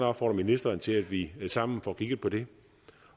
opfordre ministeren til at vi sammen får kigget på det